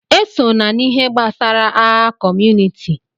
Esona n'ihe gbasara agha kọmunịti!